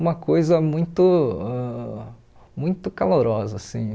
uma coisa muito ãh muito calorosa assim.